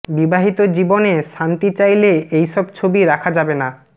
বিবাহিত জীবনে শান্তি চাইলে এই সব ছবি রাখা যাবে না